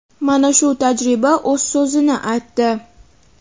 Mana shu tajriba o‘z so‘zini aytdi.